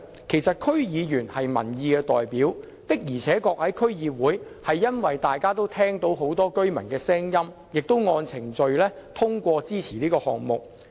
其實，區議員是民意代表，區議會的確聆聽了很多居民的聲音，也按程序通過支持這項目。